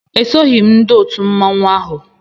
Esoghị m ndị otu mmanwụ ahụ